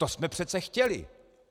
To jsme přece chtěli.